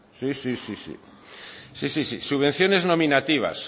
sí sí subvenciones nominativas